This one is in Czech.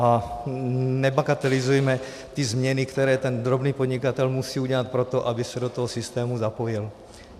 A nebagatelizujme ty změny, které ten drobný podnikatel musí udělat pro to, aby se do toho systému zapojil.